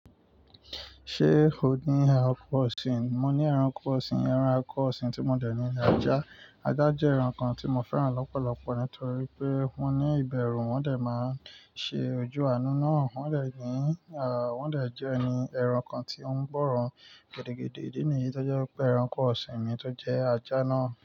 Ṣé o ní ẹranko ọ̀sìn? Mo ní ẹranko ọ̀sìn, ẹranko ọ̀sìn tí mo dẹ̀ ní ni ajá. Ajá jẹ́ ẹranko tí mo fẹ́ràn lọ́pọ̀lọpọ̀ nítorí pé wọ́n ní ìbẹ̀rù, wọ́n dẹ̀ máa ń ṣe ojú àánú náà. Wọ́n dẹ̀ ní, à, wọ́n dẹ̀ jẹ́ ẹni ẹranko tí ó ń gbọ́ràn gidigidi. Idí nìyí tó jẹ́ pé ẹranko ọ̀sìn mi tó jẹ ajá náà.